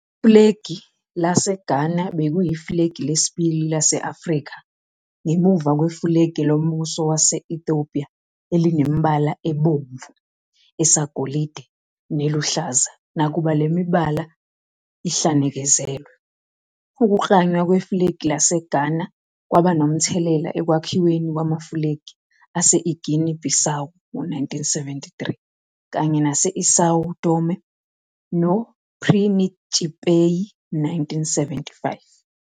Ifulegi laseGhana bekuyifulegi lesibili lase-Afrika ngemuva kwefulegi loMbuso Wase-Ethiopia elinemibala ebomvu, esagolide, neluhlaza, nakuba le mibala ihlanekezelwe. Ukuklanywa kwefulegi laseGhana kwaba nomthelela ekwakhiweni kwamafulegi ase IGini Bisawu, 1973, kanye nase ISawu Tome noPhrinitshipeyi, 1975.